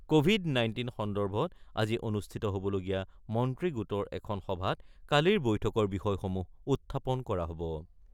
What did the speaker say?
Covid nineteen সন্দৰ্ভত আজি অনুষ্ঠিত হ'বলগীয়া মন্ত্ৰী গোটৰ এখন সভাত কালিৰ বৈঠকৰ বিষয়সমূহ উত্থাপন কৰা হ'ব।